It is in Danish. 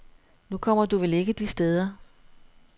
Nu kommer du vel ikke de steder.